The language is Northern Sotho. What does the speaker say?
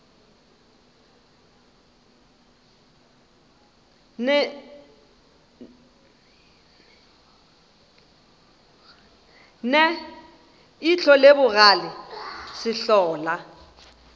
ne ihlo le bogale sehlola